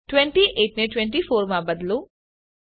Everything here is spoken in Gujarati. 28 ને 24 માં બદલો